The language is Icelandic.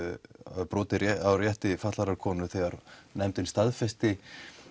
eða brotið á rétti fatlaðrar konu þegar nefndin staðfesti